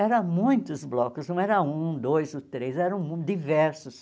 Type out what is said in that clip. Eram muitos blocos, não era um, dois ou três, eram diversos.